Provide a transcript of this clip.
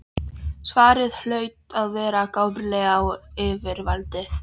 Svarið hlaut að verka gáfulega á yfirvaldið.